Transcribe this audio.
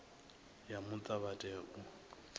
ya muta vha tea u